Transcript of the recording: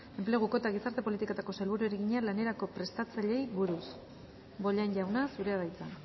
enpleguko eta gizarte politiketako sailburuari egina lanerako prestatzaileei buruz bollain jauna zurea da hitza